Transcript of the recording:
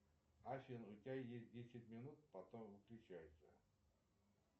афина у тебя есть десять минут потом выключайся